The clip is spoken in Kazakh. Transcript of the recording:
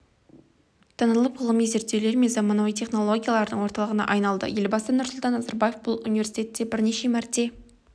танылып ғылыми зерттеулер мен заманауи технологиялардың орталығына айналды елбасы нұрсұлтан назарбаев бұл университетте бірнеше мәрте